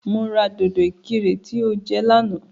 Mo ra dòdò ìkirè tí o jẹ lánàá